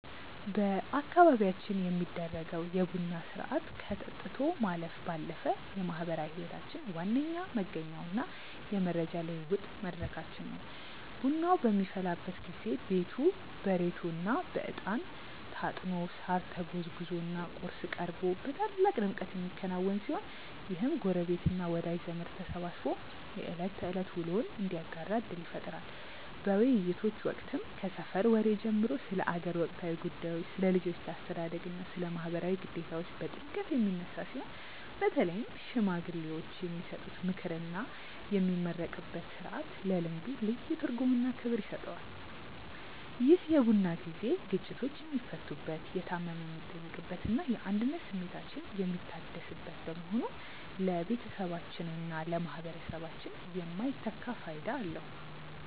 በአካባቢያችን የሚደረገው የቡና ሥርዓት ከጠጥቶ ማለፍ ባለፈ የማኅበራዊ ሕይወታችን ዋነኛ መገኛውና የመረጃ ልውውጥ መድረካችን ነው። ቡናው በሚፈላበት ጊዜ ቤቱ በሬቶና በዕጣን ታጥኖ፣ ሳር ተጎዝጉዞና ቁርስ ቀርቦ በታላቅ ድምቀት የሚከናወን ሲሆን፣ ይህም ጎረቤትና ወዳጅ ዘመድ ተሰባስቦ የዕለት ተዕለት ውሎውን እንዲያጋራ ዕድል ይፈጥራል። በውይይቶች ወቅትም ከሰፈር ወሬ ጀምሮ ስለ አገር ወቅታዊ ጉዳዮች፣ ስለ ልጆች አስተዳደግና ስለ ማኅበራዊ ግዴታዎች በጥልቀት የሚነሳ ሲሆን፣ በተለይም ሽማግሌዎች የሚሰጡት ምክርና የሚመረቅበት ሥርዓት ለልምዱ ልዩ ትርጉምና ክብር ይሰጠዋል። ይህ የቡና ጊዜ ግጭቶች የሚፈቱበት፣ የታመመ የሚጠየቅበትና የአንድነት ስሜታችን የሚታደስበት በመሆኑ ለቤተሰባችንና ለማኅበረሰባችን የማይተካ ፋይዳ አለው።